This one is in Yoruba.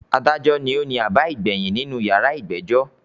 “Adájọ” ni ó ni àbá ìgbàyìn nínú “ yàrá ìgbẹ́jọ́”.